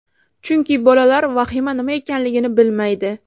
Chunki bolalar vahima nima ekanligini bilmaydi.